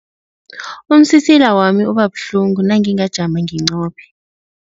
Umsisila wami uba buhlungu nangingajami nginqophe.